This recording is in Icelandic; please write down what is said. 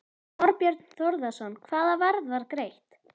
Þorbjörn Þórðarson: Hvaða verð var greitt?